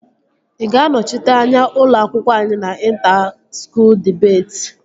Ị ga-anọchite anya ụlọ akwụkwọ anyị na inta skuul dibeti?